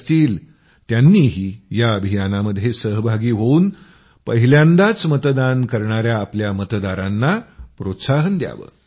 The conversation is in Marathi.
असतील त्यांनीही या अभियानामध्ये सहभागी होवून पहिल्यांदाच मतदान करणायाआपल्या मतदारांना प्रोत्साहन द्यावं